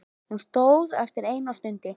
Hún stóð eftir ein og stundi.